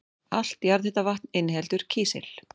Allt jarðhitavatn inniheldur kísil.